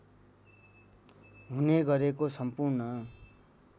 हुने गरेको सम्पूर्ण